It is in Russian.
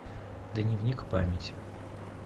дневник памяти